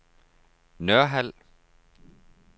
Nørhald